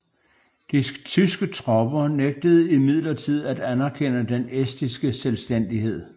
De tyske tropper nægtede imidlertid at anerkende den estiske selvstændighed